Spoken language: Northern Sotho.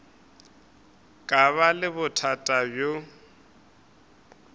ka ba le bothata bjo